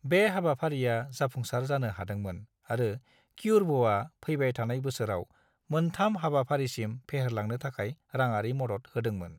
बे हाबाफारिया जाफुंसार जानो हादोंमोन आरो क्यूर्भ'आ फैबाय थानाय बोसोराव मोन्थाम हाबाफारिसिम फेहेरलांनो थाखाय रांआरि मदद होदोंमोन।